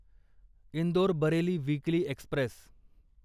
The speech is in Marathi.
Indore Bareilly weekly Express